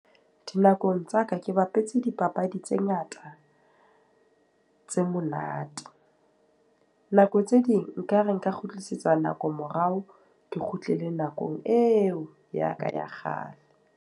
Dinakong tsa ka ke bapetse dipapadi tse ngata, tse monate. Nako tse ding nka re nka kgutlisetsa nako morao, ke kgutlile nakong eo ya ka ya kgale.